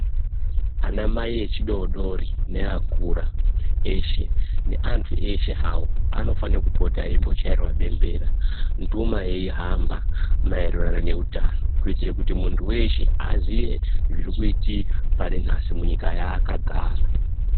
Anamai echidodori, neakura eshe, neanthu eshe hawo, anofanira kupota eimbochairwa bembera, nduma yeihamba ,maererano neutano kuitira kuti munthu weshe aziye zviri kuitika pari nhasi munyika yaakagara.